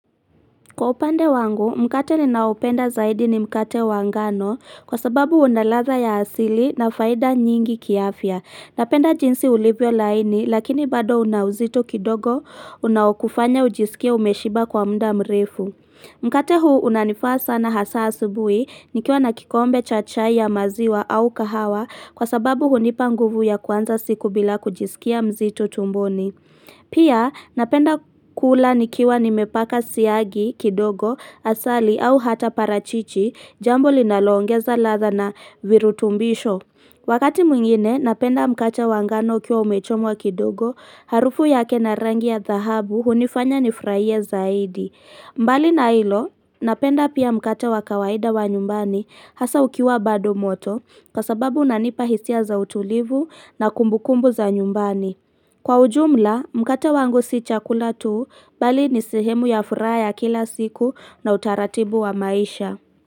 Kwa upande wangu, mkate ninaopenda zaidi ni mkate wangano kwa sababu unaladha ya asili na faida nyingi kiafya. Napenda jinsi ulivyo laini lakini bado unauzito kidogo unaokufanya ujisikia umeshiba kwa mda mrefu. Mkate huu unanifaa sana hasa asubui nikiwa nakikombe chacha ya maziwa au kahawa kwa sababu hunipanguvu ya kwanza siku bila kujisikia mzito tumboni. Pia napenda kula nikiwa nimepaka siyagi kidogo asali au hata parachichi jambo linalongeza latha na virutumbisho. Wakati mwingine napenda mkate wangano kia umechomwa kidogo harufu yake na rangi ya dhahabu hunifanya nifurahie zaidi. Mbali na hilo napenda pia mkate wakawaida wa nyumbani hasa ukiwa bado moto kasababu nanipa hisia za utulivu na kumbukumbu za nyumbani. Kwa ujumla, mkate wangu si chakula tuu bali ni sehemu ya furaha kila siku na utaratibu wa maisha.